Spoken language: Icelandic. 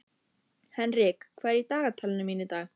Henrik, hvað er í dagatalinu mínu í dag?